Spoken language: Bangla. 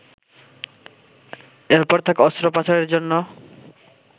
এরপর তাকে অস্ত্রোপচারের জন্য